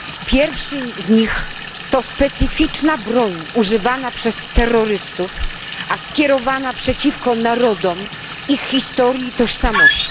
Pierwszy z nich to specyficzna broń używana przez terrorystów, a skierowana przeciwko narodom i historii tożsamości.